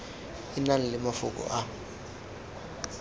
e nang le mafoko a